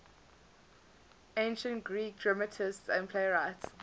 ancient greek dramatists and playwrights